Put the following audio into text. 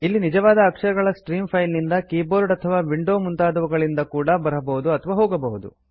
ಇಲ್ಲಿ ನಿಜವಾದ ಅಕ್ಷರಗಳ ಸ್ಟ್ರೀಮ್ಸ್ ಫೈಲ್ ನಿಂದ ಕೀಬೋರ್ಡ್ ಅಥವಾ ವಿಂಡೋ ಮುಂತಾದವುಗಳಿಂದ ಕೂಡಾ ಬರಬಹುದು ಹಾಗೂ ಹೋಗಬಹುದು